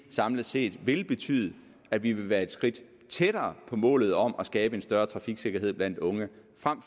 samlet set betyde at vi vil være et skridt tættere på målet om at skabe en større trafiksikkerhed blandt unge